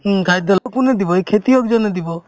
উম, খাদ্য কোনে দিব এই খেতিয়কজনে দিব